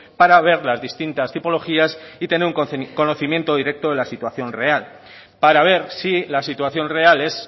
para ver las distintas tipologías y tener un conocimiento directo de la situación real para ver si la situación real es